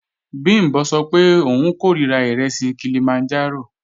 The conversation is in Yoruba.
Bìmbọ́ sọ pé òun kòríra ìrẹsì Kilimanjaro